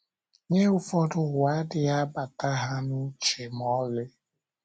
Nye ụfọdụ, ụwa adịghị abata ha n’uche ma ọlị.